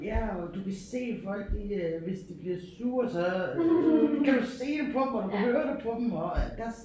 Ja og du kan se folk de øh hvis de bliver sure så kan du se det på dem og du kan høre det på dem og das